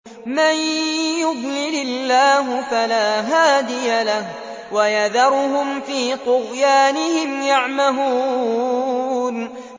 مَن يُضْلِلِ اللَّهُ فَلَا هَادِيَ لَهُ ۚ وَيَذَرُهُمْ فِي طُغْيَانِهِمْ يَعْمَهُونَ